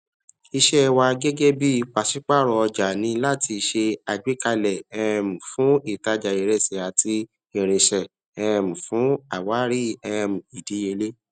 iṣẹ wa gẹgẹ bí pasipaaro ọjà n ní láti se àgbékalẹ um fún ìtajà iresi àti irinṣẹ um fún àwárí um ìdíyelé